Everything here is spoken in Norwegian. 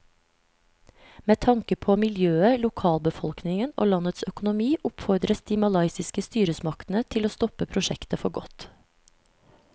Med tanke på miljøet, lokalbefolkningen og landets økonomi oppfordres de malaysiske styresmaktene til å stoppe prosjektet for godt.